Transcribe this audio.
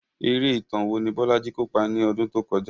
Eré ìtàn wo ni Bolaji kópa ní ọdún tó kọjá?